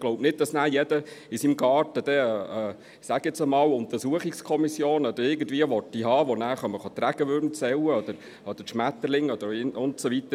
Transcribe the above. Ich glaube nicht, dass dann jeder in seinem Garten – ich sage jetzt mal – eine Untersuchungskommission oder irgendetwas haben will, die nachher die Regenwürmer oder Schmetterlinge zählen kommen und so weiter.